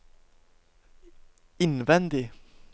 innvendig